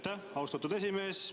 Aitäh, austatud esimees!